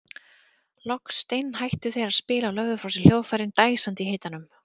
Loks steinhættu þeir að spila og lögðu frá sér hljóðfærin dæsandi í hitanum.